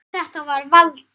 Þetta var Valdi.